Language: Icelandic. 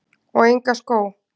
Og enga skó?